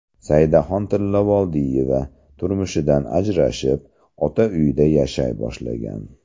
Saidaxon Tillavoldiyeva turmushidan ajrashib, ota uyida yashay boshlagan.